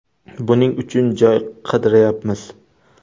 Buning uchun joy qidirayapmiz.